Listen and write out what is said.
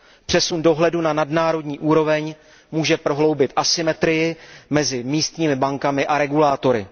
Přesun dohledu na nadnárodní úroveň může prohloubit asymetrii mezi místními bankami a regulátory.